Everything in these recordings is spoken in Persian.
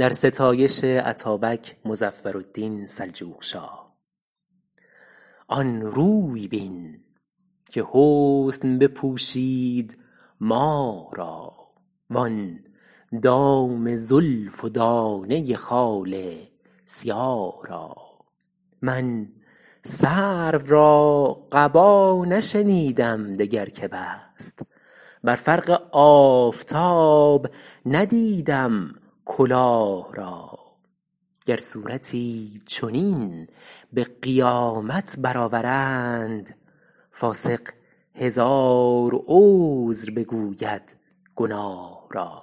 آن روی بین که حسن بپوشید ماه را وآن دام زلف و دانه خال سیاه را من سرو را قبا نشنیدم دگر که بست بر فرق آفتاب ندیدم کلاه را گر صورتی چنین به قیامت برآورند فاسق هزار عذر بگوید گناه را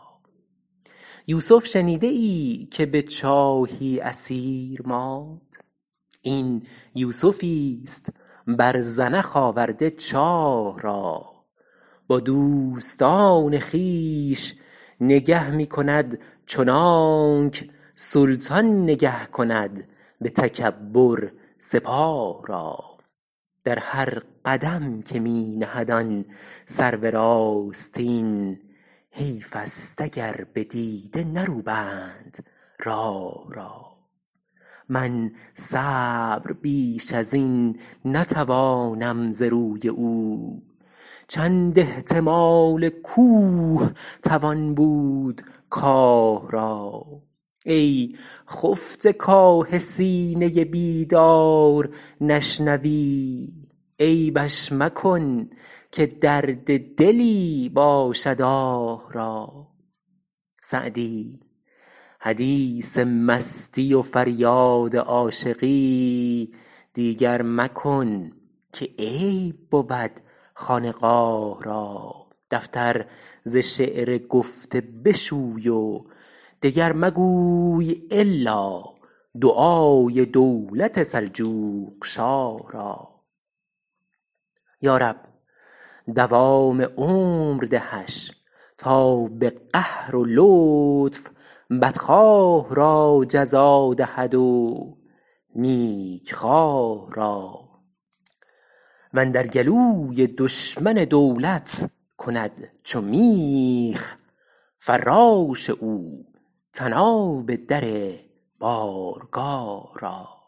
یوسف شنیده ای که به چاهی اسیر ماند این یوسفیست بر زنخ آورده چاه را با دوستان خویش نگه می کند چنانک سلطان نگه کند به تکبر سپاه را در هر قدم که می نهد آن سرو راستین حیف است اگر به دیده نروبند راه را من صبر بیش از این نتوانم ز روی او چند احتمال کوه توان بود کاه را ای خفته کآه سینه بیدار نشنوی عیبش مکن که درد دلی باشد آه را سعدی حدیث مستی و فریاد عاشقی دیگر مکن که عیب بود خانقاه را دفتر ز شعر گفته بشوی و دگر مگوی الا دعای دولت سلجوقشاه را یارب دوام عمر دهش تا به قهر و لطف بدخواه را جزا دهد و نیکخواه را واندر گلوی دشمن دولت کند چو میخ فراش او طناب در بارگاه را